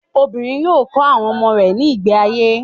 Obìnrin yóò kọ́ àwọn ọmọ rẹ̀ ní ìgbé ayé.